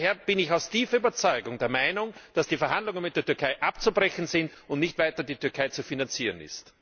Daher bin ich aus tiefer Überzeugung der Meinung, dass die Verhandlungen mit der Türkei abzubrechen sind und die Türkei nicht weiter zu finanzieren ist.